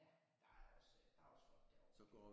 Ja der er også der er også flot derovre